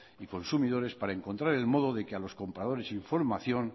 y consumidores para encontrar el modo de que a los compradores sin formación